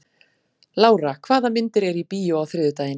Lára, hvaða myndir eru í bíó á þriðjudaginn?